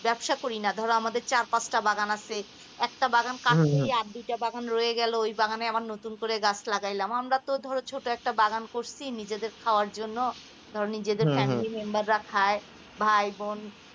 ব্যবসা করি না ধরো আমাদের চার-পাঁচটা বাগান আছে. একটা বাগান কাটছি আর দুইটা বাগান রয়ে গেল আবার নতুন করে গাছ লাগাইলাম আমরা তো ধরেছো একটা বাগান করেছি নিজেদের খাওয়ার জন্য ধরো নিজেদের family number রা খাই ভাই-বোন